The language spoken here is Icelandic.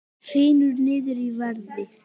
Hrynur niður í verði